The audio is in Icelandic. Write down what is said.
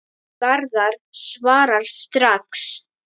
Garðar svarar strax.